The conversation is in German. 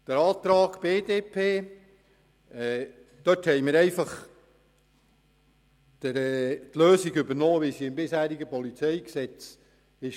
Bezüglich des Antrags der BDP haben wir die Lösung des bisherigen PolG übernommen.